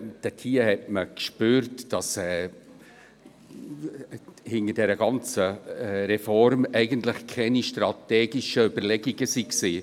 Dort spürte man, dass hinter der ganzen Reform eigentlich keine strategischen Überlegungen waren.